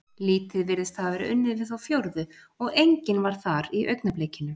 Lítið virtist hafa verið unnið við þá fjórðu og enginn var þar í augnablikinu.